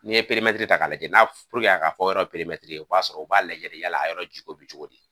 N'i ye ta k'a lajɛ n'a puruke a ka fɔ yɔrɔ ma o b'a sɔrɔ o b'a lajɛ de yala a yɔrɔ jiko bɛ cogo di.